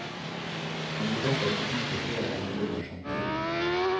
Man må derfor ikke by på flere eiendommer samtidig.